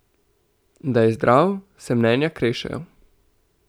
Da je zdrav, se mnenja krešejo.